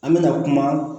An mɛna kuma